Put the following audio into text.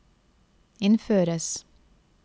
innføres